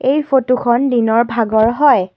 এই ফটোখন দিনৰ ভাগৰ হয়।